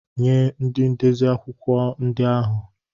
Nye ndị ndezi akwụkwọ ndị ahụ!